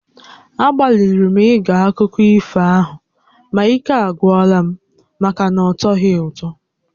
Agbalịrị m ige akụkọ ifo ahụ ma ike agwụla m maka na ọtọghị ụtọ